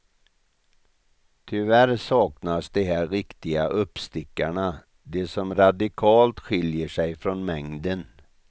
Tyvärr saknas de där riktiga uppstickarna, de som radikalt skiljer sig från mängden.